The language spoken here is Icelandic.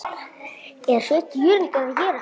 er Sveinn Jörundur að gera?